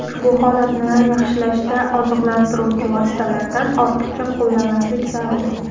Ushbu holatni yaxshilashda oziqlantiruvchi vositalardan ortiqcha qo‘llamaslik zarur.